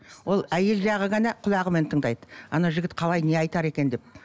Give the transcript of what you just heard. ол әйел жағы ғана құлағымен тыңдайды анау жігіт қалай не айтар екен деп